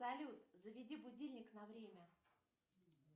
салют заведи будильник на время